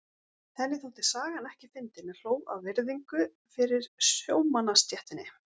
Henni þótti sagan ekki fyndin en hló af virðingu fyrir sjómannastéttinni.